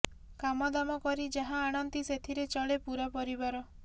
କାମଦାମ କରି ଯାହା ଆଣନ୍ତି ସେଥିରେ ଚଳେ ପୂରା ପରିବାର